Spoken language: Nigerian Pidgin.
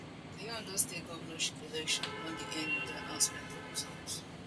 di ondo state governorship election don dey end wit di announcement of results